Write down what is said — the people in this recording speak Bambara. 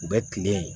U bɛ kile